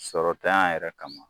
Sɔrɔ tanya yɛrɛ kama